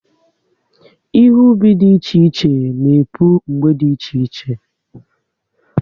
Ihe ubi dị iche iche na-epu mgbe dị iche iche